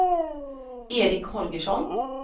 Eric Holgersson